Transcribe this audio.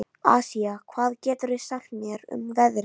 Asía, hvað geturðu sagt mér um veðrið?